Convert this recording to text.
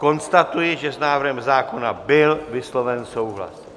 Konstatuji, že s návrhem zákona byl vysloven souhlas.